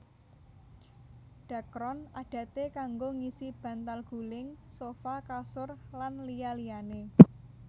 Dhakron adaté kanggo ngisi bantal guling sofa kasur lan liya liyané